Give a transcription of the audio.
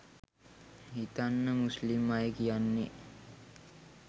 හිතන්න මුස්ලිම් අය කියන්නේ